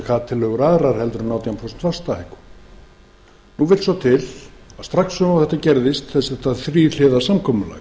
hvaða tillögur aðrar en átján prósent vaxtahækkun nú vill svo til að strax og þetta gerðist þetta þríhliða samkomulag